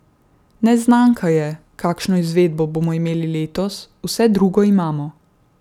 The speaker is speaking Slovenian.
Neznanka je, kakšno izvedbo bomo imeli letos, vse drugo imamo.